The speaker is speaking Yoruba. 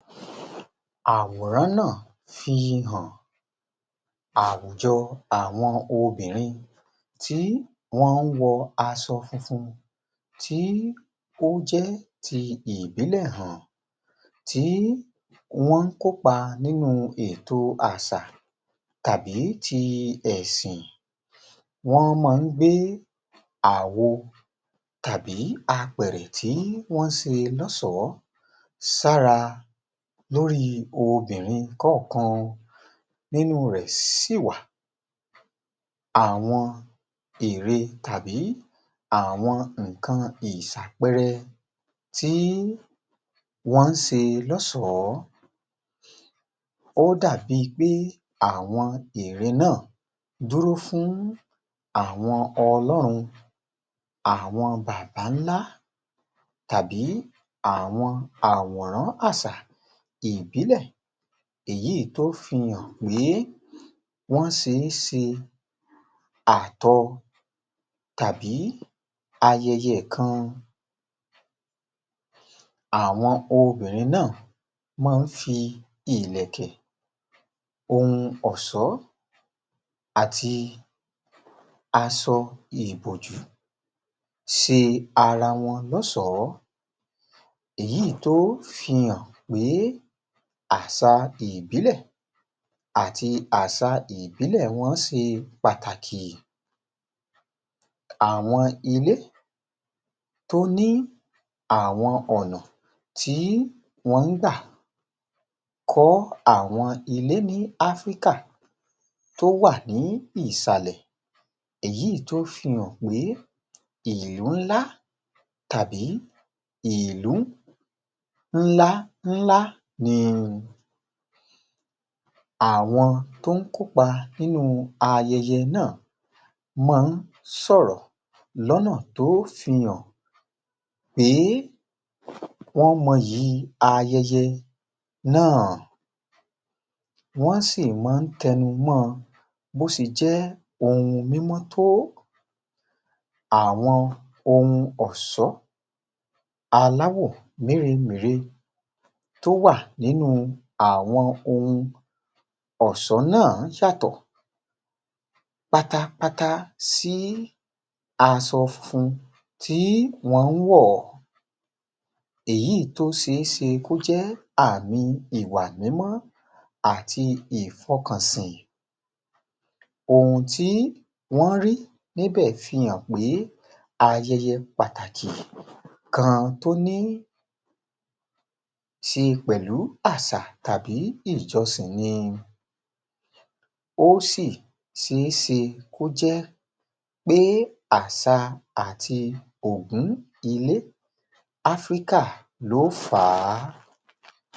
Àwòrán náà fi hàn àwùjọ àwọn obìnrin tí wọ́n ń wọ aṣọ funfun tí ó jẹ́ ti ìbílẹ̀ hàn. Tí wọ́n ń kópa nínú ètò àṣà tàbí ti ẹ̀sìn, wọ́n máa ń gbé àwo tàbí apẹ̀rẹ̀ tí wọ́n ṣe lọ́ṣọ̀ọ́ sára lórí obìnrin kọ̀ọ̀kan nínú rẹ̀ sì wà àwọn ère tàbí àwọn nǹkan ìṣàpẹrẹ tí wọ́n ń ṣe lọ́ṣọ̀ọ́. Ó dàbí i pé àwọn ère náà dúró fún àwọn ọlọ́run, àwọn bàbá ńlá tàbí àwọn àwòrán àṣà ìbílẹ̀ èyí tó fi hàn pé wọ́n ṣe é ṣe àtọ tàbí ayẹyẹ kan. Àwọn obìnrin náà máa ń fi ìlẹ̀kẹ̀, ohun ọ̀ṣọ́ àti aṣọ ìbòjú ṣe ara ẉon lọ́ṣọ̀ọ́, èyí tó fi hàn pé àṣà ìbílẹ̀ àti àṣà ìbílẹ̀ wọn ṣe pàtàkì. Àwọn ilé tó ní àwọn ọ̀nà tí wọ́n ń gbà kọ́ àwọn ilé ní Áfríkà tó wà ní ìsàlẹ̀ èyí tó fi hàn pé ìlú ńlá tàbí ìlú ńlá ńlá ni. Àwọn tó ń kópa nínú ayẹyẹ náà máa ń sọ̀rọ̀ lọ́nà tó fi hàn pé um wọ́n moyì ayẹyẹ náà, wọ́n sì máa ń tẹnu mọ́ on bó ṣe jẹ́ mímọ́ tó. Àwọn ohun ọ̀ṣọ́ aláwò mèremère tó wà nínú àwọn ohun ọ̀ṣọ́ náà yàtọ̀ pátápátá sí aṣọ funfun tí wọ́n ń wọ̀. Èyí tó ṣe é ṣe kó jẹ́ àmì ìwà mímọ́ àti ìfọkànsìn ohun tí wọ́n rí níbẹ̀ fi hàn pé ayẹyẹ pàtàkì kan tó ní ṣe pẹ̀lú àṣà tàbí ìjọsìn ni. Ó sì ṣe é ṣe kó jẹ́ pé àṣà àti ògún ilẹ̀ Áfríkà ló fà á